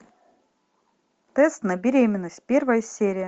тест на беременность первая серия